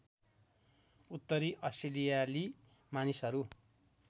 उत्तरी अस्ट्रेलियाली मानिसहरू